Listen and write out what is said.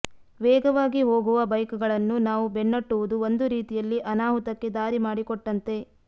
ವೇಗವಾಗಿ ಹೋಗುವ ಬೈಕ್ಗಳನ್ನು ನಾವು ಬೆನ್ನಟ್ಟುವುದು ಒಂದು ರೀತಿಯಲ್ಲಿ ಅನಾಹುತಕ್ಕೆ ದಾರಿ ಮಾಡಿಕೊಟ್ಟಂತೆ